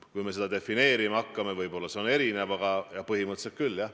Kui me seda defineerima hakkame, siis see võib olla erinev, aga põhimõtteliselt küll, jah.